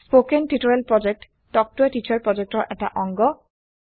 কথন শিক্ষণ প্ৰকল্প তাল্ক ত a টিচাৰ প্ৰকল্পৰ এটা অংগ